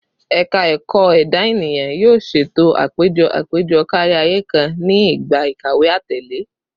Ẹka Ẹkọ Eda Eniyan yoo ṣee ṣeto apejọ apejọ kariaye kan ni igba ikawe atẹle